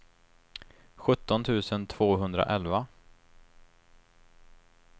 sjutton tusen tvåhundraelva